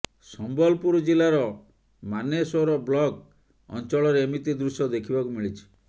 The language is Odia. ସମ୍ବଲପୁର ଜିଲ୍ଲାର ମାନେଶ୍ୱର ବ୍ଲକ ଅଂଚଳରେ ଏମିତି ଦୃଶ୍ୟ ଦେଖିବାକୁ ମିଳିଛି